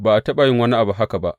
Ba a taɓa yin wani abu haka ba.